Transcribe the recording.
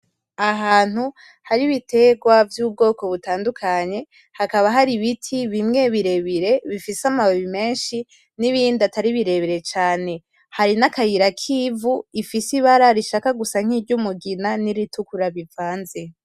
Ahantu hari ibitegwa vy'ubwoko butandukanye, hakaba hari ibiti bimwe birebire bifise amababi menshi n’ibindi bitari birebire cane. Hari n’akayira k’ivu ifise ibara rishaka gusa nk’iry'umugina n’iritukura bivanze.